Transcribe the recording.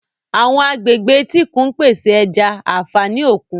Àwọn agbègbè etíkun ń pèsè ẹja, àfààní òkun.